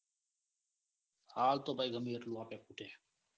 હાલ તો ભાઈ ગમેતેટલું આપો એ ખૂટે.